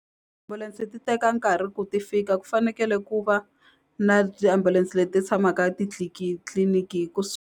ti teka nkarhi ku ti fika ku fanekele ku va na tiambulense leti tshamaka tliliniki .